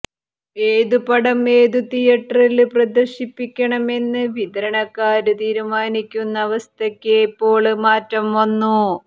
ഏതു പടം ഏതു തിയറ്ററില് പ്രദര്ശിപ്പിക്കണമെന്ന് വിതരണക്കാര് തീരുമാനിക്കുന്ന അവസ്ഥയ്ക്ക് ഇപ്പോള് മാറ്റം വന്നു